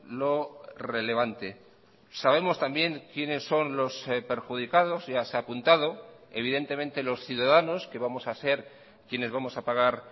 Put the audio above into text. lo relevante sabemos también quiénes son los perjudicados ya se ha apuntado evidentemente los ciudadanos que vamos a ser quienes vamos a pagar